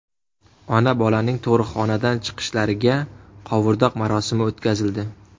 Ona-bolaning tug‘ruqxonadan chiqishlariga qovurdoq marosimi o‘tkazildi.